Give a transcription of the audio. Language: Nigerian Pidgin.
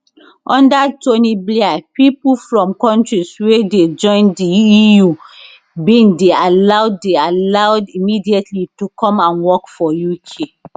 under tony blair pipo from kontris wey dey join di eu bin dey allowed dey allowed immediately to come and work for uk